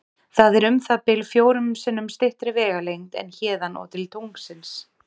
Það er um það bil fjórum sinnum styttri vegalengd en héðan og til tunglsins.